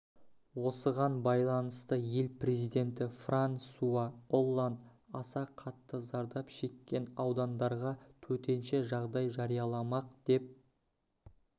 осыған байланысты ел президенті франсуа олланд аса қатты зардап шеккен аудандарға төтенше жағдай жарияламақ деп